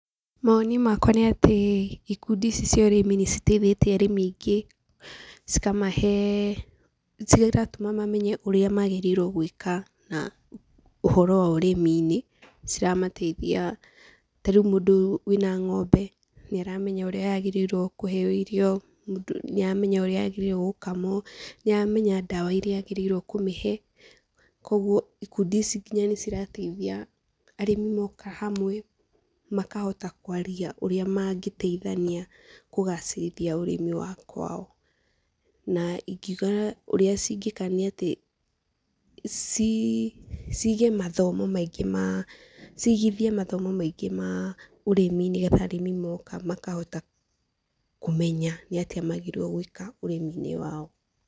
Mawoni makwa nĩ atĩ ikundi ici cia ũrĩmi nĩciteithĩtie arĩmi aingĩ, cikamahe cigatuma mamenye ũria magĩrĩirwo gwĩka ũhoro wa ũrĩmi-inĩ, ciramateithia ta rĩu mũndũ wĩ na ng'ombe, nĩaramenya ũrĩa yagĩrĩirwo kũheyo irio, nĩaramenya ũrĩa yagĩrĩirwo gũkamwo, nĩaramenya ndawa ĩria agĩrĩire nĩ kũmĩhe. Koguo ikundi ici nginya nĩcirateithia arĩmi moka hamwe makahota kwaria ũrĩa mangĩteithania kũgacĩrithia ũrimi wa kwao. Na ingiuga ũrĩa cingĩka nĩ ati, cigithie mathomo maingĩ ma ũrĩmi, nĩgetha arĩmi moka makahota kumenya nĩ atĩa magĩrĩire gwĩka ũrĩmi-inĩ wao.